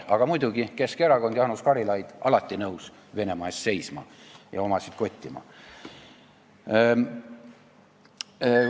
Aga muidugi Keskerakond, Jaanus Karilaid – alati nõus Venemaa eest seisma ja omasid kottima.